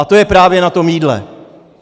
A to je právě na tom jídle.